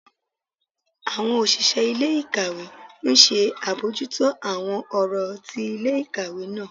Àwọn òṣìṣẹ́ ilé-ìkàwé ńṣe àbójútó àwọn ọ̀rọ̀ ti ilé-ìkàwé náà.